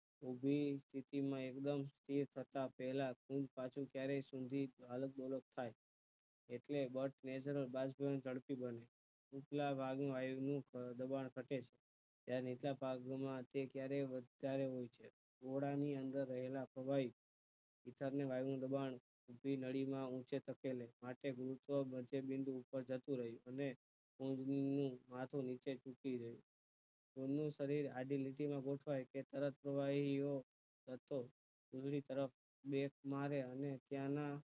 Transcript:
માટે ગુરુત્વા મોટે બિંદુ ઉપર જતું રહે અને માથે થતી રહે એમનું શરીર સાદી લીટી માં ગોઠવાય કે તરત પ્રવહીઓ રસ્તો વીજળી તરફ મેઘમાર્ગ અને ત્યાં ના